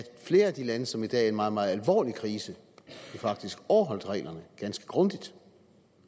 flere af de lande som i dag er i en meget meget alvorlig krise faktisk overholdt reglerne ganske grundigt